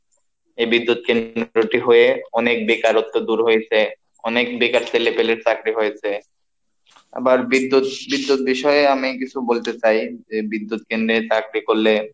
এই বিদ্যুৎ কেন্দ্রটি হয়ে অনেক বেকারত্ব দূর হয়েছে, অনেক বেকার ছেলেপেলের চাকরি হয়েছে, আবার বিদ্যুৎ বিদ্যুৎ বিষয়ে আমি কিছু বলতে চাই যে বিদ্যুৎ কেন্দ্রে চাকরি করলে,